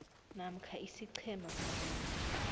namkha isiqhema sabantu